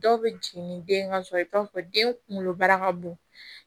Dɔw bɛ jigin ni den ka sɔrɔ i bɛ t'a sɔrɔ den kunkolobara ka bon